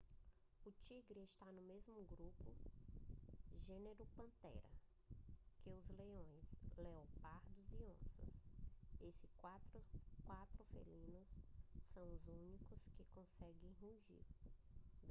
o tigre está no mesmo grupo gênero panthera que os leões leopardos e onças. esses quatro felinos são os únicos que conseguem rugir